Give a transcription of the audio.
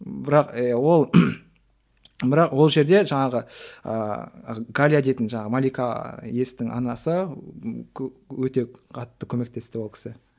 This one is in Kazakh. бірақ ы ол бірақ ол жерде жаңағы ыыы галя дейтін жаңағы малика естің анасы өте қатты көмектесті ол кісі